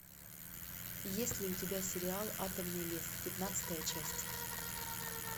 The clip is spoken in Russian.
есть ли у тебя сериал атомный лес пятнадцатая часть